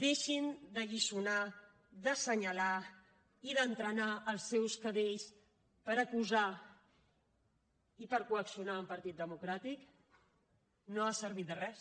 deixin d’alliçonar d’assenyalar i d’entrenar els seus cadells per acusar i per coaccionar un partit democràtic no ha servit de res